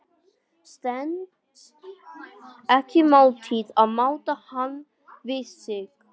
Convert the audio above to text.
Stenst ekki mátið að máta hann við sig.